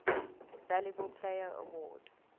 valuable player award